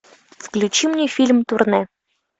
включи мне фильм турне